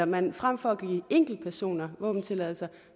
man frem for at give enkeltpersoner våbentilladelser